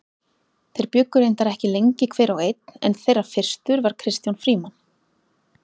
Þeir bjuggu reyndar ekki lengi hver og einn en þeirra fyrstur var Kristján Frímann.